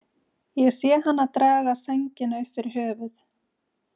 Ég sé hana draga sængina upp fyrir höfuð.